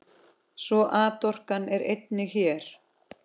Svo atorkan er einnig hér.